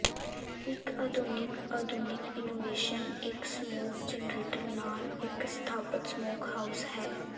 ਇਕ ਆਧੁਨਿਕ ਆਧੁਨਿਕ ਇਨੋਵੇਸ਼ਨ ਇੱਕ ਸਮੋਕ ਜਰਨੇਟਰ ਨਾਲ ਇੱਕ ਸਥਾਪਤ ਸਮੋਕਹਾਊਸ ਹੈ